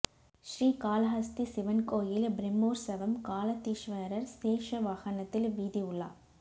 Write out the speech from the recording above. ஸ்ரீகாளஹஸ்தி சிவன் கோயில் பிரமோற்சவம் காளத்தீஸ்வரர் சேஷ வாகனத்தில் வீதி உலா